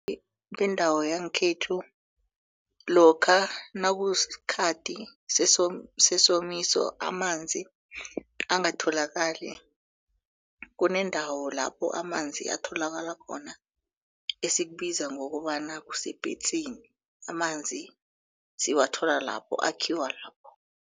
bendawo yangekhethu lokha nakusikhathi sesomiso amanzi angatholakali kuneendawo lapho amanzi atholakala khona esikubizwa ngokobana kusepentsini amanzi siwathola lapho akhiwe lapho.